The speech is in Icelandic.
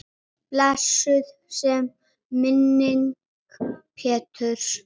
Blessuð sé minning Péturs.